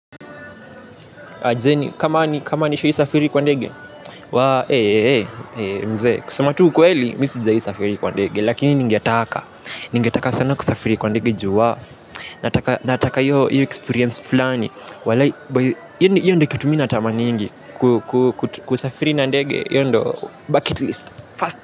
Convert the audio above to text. Hizeni kama ni kama nishaisafiri kwa ndege wa ee mzee kusema tu ukweli mi sijai safiri kwa ndege lakini ningetaka ningetaka sana kusafiri kwa ndege ju wa nataka hiyo experience fulani walai hiyo ndo kitu mi natamaningi kusafiri na ndege hiyo ndo bucket list first.